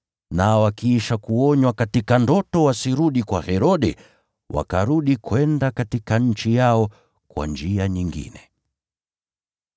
Nao wakiisha kuonywa katika ndoto wasirudi kwa Herode, wakarudi kwenda katika nchi yao kwa njia nyingine.